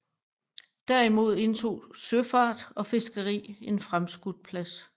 Derimod indtog søfart og fiskeri en fremskudt plads